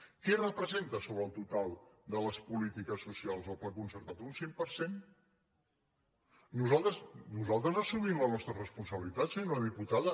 què representa sobre el total de les polítiques socials el pla concertat un cinc per cent nosaltres assumim la nostra responsabilitat senyora diputada